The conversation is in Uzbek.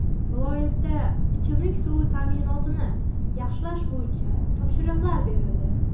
Viloyatda ichimlik suvi ta’minotini yaxshilash bo‘yicha topshiriqlar berildi.